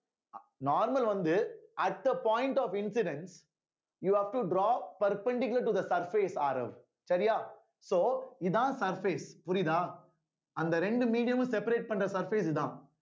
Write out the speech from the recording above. normal வந்து at the point of incidence you have to draw perpendicular to the surface சரியா so இதான் surface புரியுதா அந்த ரெண்டு medium மும் separate பண்ற surface இதான்